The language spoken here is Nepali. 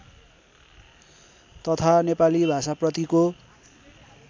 तथा नेपाली भाषाप्रतिको